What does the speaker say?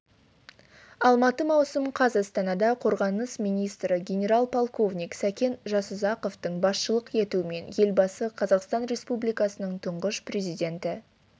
алматы маусым қаз астанада қорғаныс министрі генерал-полковник сәкен жасұзақовтың басшылық етуімен елбасы қазақстан республикасының тұңғыш президенті